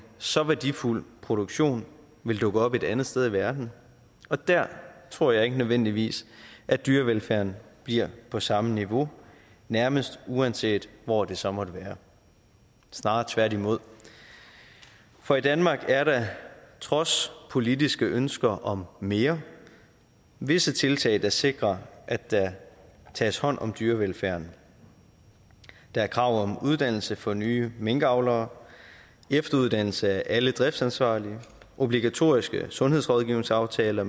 så værdifuld produktion vil dukke op et andet sted i verden og der tror jeg ikke nødvendigvis at dyrevelfærden bliver på samme niveau nærmest uanset hvor det så måtte være snarere tværtimod for i danmark er der trods politiske ønsker om mere visse tiltag der sikrer at der tages hånd om dyrevelfærden der er krav om uddannelse for nye minkavlere efteruddannelse af alle driftsansvarlige og obligatoriske sundhedsrådgivningsaftaler